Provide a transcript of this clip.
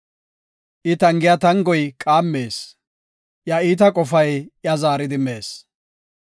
I tangiya tangoy qaammees; iya iita qofay iya zaaridi mees.